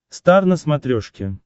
стар на смотрешке